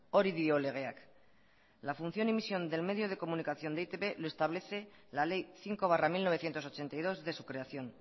hori dio legeak la función y misión del medio de comunicación de e i te be lo establece la ley cinco barra mil novecientos ochenta y dos de su creación